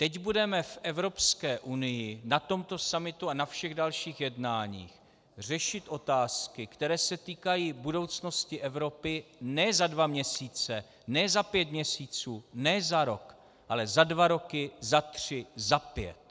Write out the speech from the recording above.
Teď budeme v Evropské unii na tomto summitu a na všech dalších jednáních řešit otázky, které se týkají budoucnosti Evropy ne za dva měsíce, ne za pět měsíců, ne za rok, ale za dva roky, za tři, za pět.